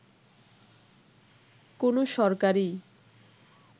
কোনো সরকারই